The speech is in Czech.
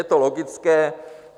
Je to logické.